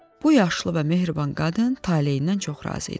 Bu yaşlı və mehriban qadın taleyindən çox razı idi.